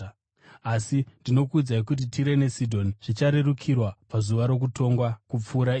Asi ndinokuudzai kuti Tire neSidhoni zvicharerukirwa pazuva rokutongwa kupfuura imi.